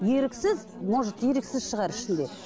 еріксіз может еріксіз шығар ішінде